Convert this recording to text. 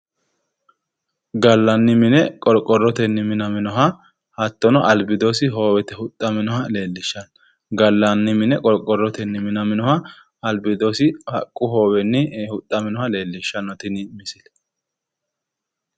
Gallanni mine qorqorrotenni minaminoha hattonno albiidosi hoowetenni huxxaminoha leellishshanno misileeti. Gallanni mine qorqorrotenni minaminoha hattonno albiidosi hoowetenni huxxaminoha leellishshanno tini misile.